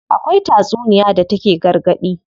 Akwai tatsuniya da take gargaɗi.